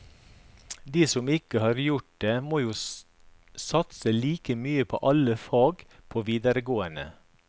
De som ikke har gjort det må jo satse like mye på alle fag på videregående.